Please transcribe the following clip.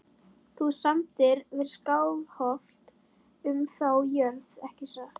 Þú samdir við Skálholt um þá jörð ekki satt?